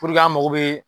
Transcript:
an mago bɛ